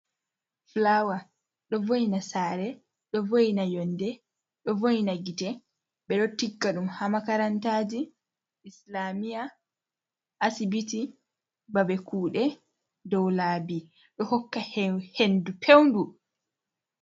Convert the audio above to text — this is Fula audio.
Fulawa ɗo vo’ina saare, ɗo vo’ina yonde, ɗo vo’ina gite, ɓe ɗo tigga ɗum haa makarantaji, islamiya, asibiti babe kuɗe, doo laabi, ɗo hokka hendu peu-ɗuu.